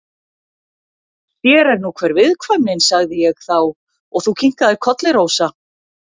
Sér er nú hver viðkvæmnin, sagði ég þá og þú kinkaðir kolli, Rósa.